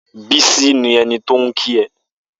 Bisi ni ẹni tó n kí è